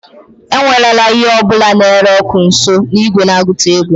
ewerela ihe ọ bụla na-ere ọkụ nso igwe na-agụta ego